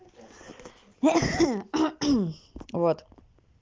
вот